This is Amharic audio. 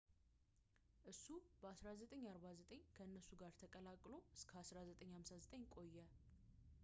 እሱ በ 1945 ከእነርሱ ጋር ተቀላቅሎ እስከ 1958 ቆየ